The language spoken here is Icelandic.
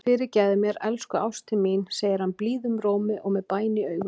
Fyrirgefðu mér, elsku ástin mín, segir hann blíðum rómi og með bæn í augum.